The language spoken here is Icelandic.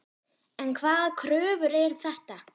En hvaða kröfur eru þetta?